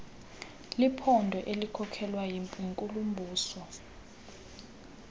liphondo elikhokelwa yinkulumbuso